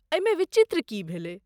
एहिमे विचित्र की भेलय?